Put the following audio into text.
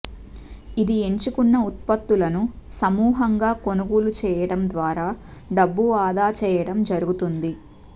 ఇది ఎంచుకున్న ఉత్పత్తులను సమూహంగా కొనుగోలు చేయడం ద్వారా డబ్బు ఆదా చేయడం జరుగుతుంది